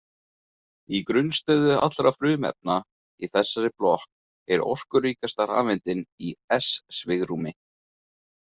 Í grunnstöðu allra frumefna í þessari blokk, er orkuríkasta rafeindin í s-svigrúmi.